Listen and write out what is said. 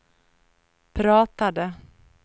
pratade